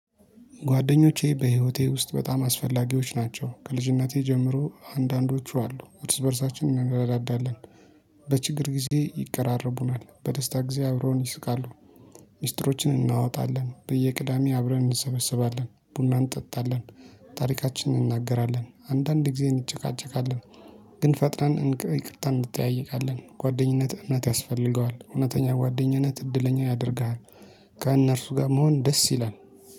ጓደኞቼ በህይወቴ ውስጥ በጣም አስፈላጊዎች ናቸው ከልጅነቴ ጀምሮ አንዳንዶቹ አሉ እርስ በእርሳችን እንረዳዳለን፤ በችግር ጊዜ ይቀራረቡናል በደስታ ጊዜ አብሮን ይስቃሉ። ሚስጥሮችን እናወጣለን፤ በየቅዳሜ አብረን እንሰበስባለን፤ ቡና እንጠጣለን፤ ታሪካችንን እናገራለን አንዳንድ ጊዜ እንጨቃጨቃለን ግን ፈጥነን ይቅርታ እንጠያይቃለን ጓደኝነት እምነት ያስፈልገዋል እውነተኛ ጓደኝነት እድለኛ ያደርግሃል። ከእነርሱ ጋር መሆን ደስ ይላል።